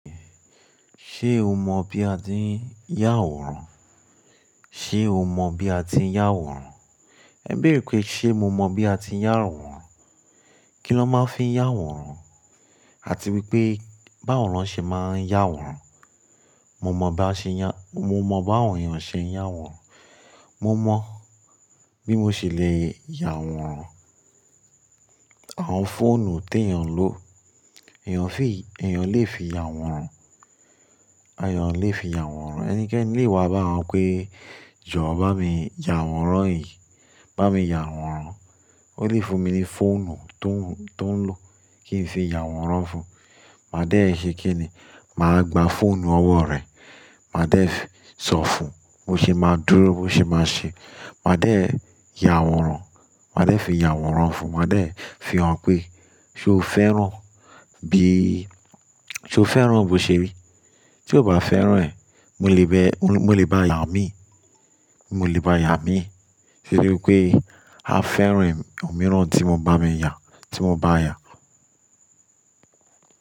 Ṣé o mọ bí a ti ń yàwòrán? Ṣé o mọ bí a ti ń yàwòrán? Ẹ bèrè pé, ṣe mo mọ bí a ti ń yàwòrán? Kí lọ́ máa ń fi yàwòrán, àti wípé báwo lọn ṣe máa ń yàwòrán. Mo mọ bá ṣe ya-- mo mọ bá àwọn èèyàn ṣe ń yàwòrán. Mo mọ bí mo ṣe le yàwòrán. Àwọn fóònù t'èèyàn ń lò, èèyàn fi, èèyàn lè fi yàwòrán. Èèyàn lè fi yàwòrán. Ẹnikẹ́ni lè wá bá wa pé jọ̀ọ́ bá mi yàwòrán yìí, bá mi yàwòrán. Ó lè fún mi ní fóònù tó ń, tó ń lò kí n fi yàwòrán fún un. Màá dẹ̀ ṣe kín ní, màá gba fóònù ọwọ́ rẹ̀, màá dẹ̀ sọ fún un bó ṣe máa dúró, bó ṣe máa ṣe. Màá dẹ̀ yàwòrán, màá dẹ̀ fi yàwòrán fún un, màá dẹ̀ fi hàn pé, ṣé o fẹ́ràn bí, ṣé o fẹ́ràn bó ṣe rí? Tí o bá fẹ́ràn ẹ̀, mo lè bẹ́, mo lè bá a yà mí, mo lè bá a yà mí. Torí wipé a fẹ́ràn òmíràn tí mo bá mi yà, tí mo bá a yà.